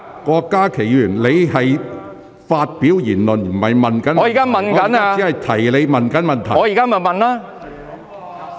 郭家麒議員，你正在發表議論，而非提出補充質詢。